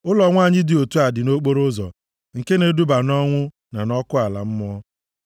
Ụlọ nwanyị dị otu a dị nʼokporoụzọ nke na-eduba nʼọnwụ na nʼọkụ ala mmụọ.